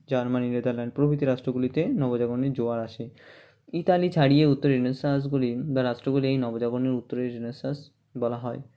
Germany Netherland প্রভৃতি রাষ্ট্রগুলিতে নবজাগরণের জোয়ার আসে ইতালি ছাড়িয়ে উত্তরে Renaissance গুলি বা রাষ্ট্রগুলি এই নবজাগরণে উত্তরে Renaissance বলা হয়